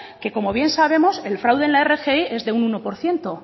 que como bien sabemos el fraude en la rgi es de un uno por ciento